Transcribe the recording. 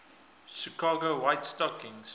chicago white stockings